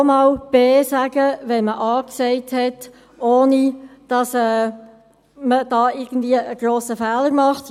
Man kann auch einmal B sagen, wenn man A gesagt hat, ohne dass man dabei einen grossen Fehler begeht.